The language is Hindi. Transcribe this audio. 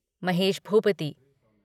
महेश भूपति